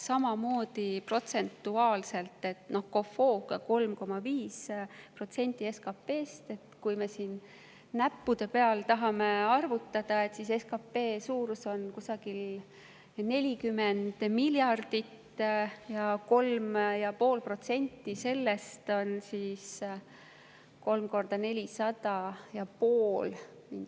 Samamoodi protsentuaalselt: COFOG‑i järgi on see 3,5% SKP‑st. Kui näppude peal arvutada, siis SKP suurus on kusagil 40 miljardit ja 3,5% sellest on mingisugune 3 × 400 ja pool …